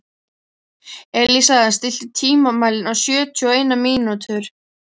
Elísa, stilltu tímamælinn á sjötíu og eina mínútur.